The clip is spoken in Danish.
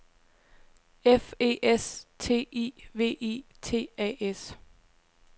F E S T I V I T A S